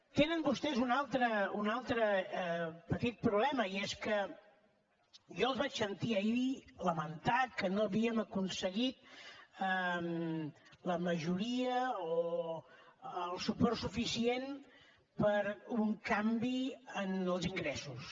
tenen vostès un altre petit problema i és que jo els vaig sentir ahir dir lamentar que no havíem aconseguit la majoria o el suport suficient per un canvi en els ingressos